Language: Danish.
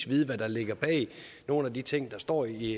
vide hvad der ligger bag nogle af de ting der står i